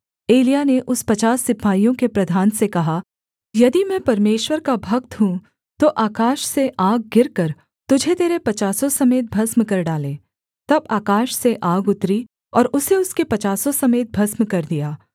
एलिय्याह ने उस पचास सिपाहियों के प्रधान से कहा यदि मैं परमेश्वर का भक्त हूँ तो आकाश से आग गिरकर तुझे तेरे पचासों समेत भस्म कर डाले तब आकाश से आग उतरी और उसे उसके पचासों समेत भस्म कर दिया